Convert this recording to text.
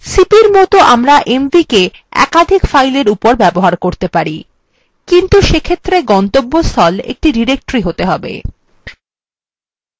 cp র মতন আমরা mv cp একাধিক filesএর উপর ব্যবহার করতে পারি কিন্তু সেক্ষেত্রে গন্তব্যস্থল একটি directory হতে হবে